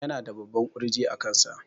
Yana da babban ƙurji a kansa